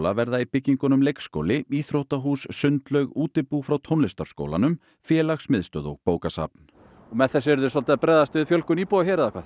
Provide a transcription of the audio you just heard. verða í byggingunum leikskóli íþróttahús sundlaug útibú frá tónlistarskólanum félagsmiðstöð og bókasafn með þessu eruð þið að bregðast við fjölgun íbúa